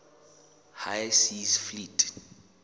high seas fleet